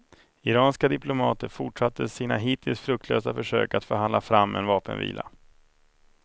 Iranska diplomater fortsatte sina hittills fruktlösa försök att förhandla fram en vapenvila.